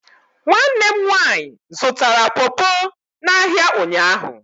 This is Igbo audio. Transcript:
Nwanne m nwaanyị zụtara popo n' áhiá ụnyaahụ.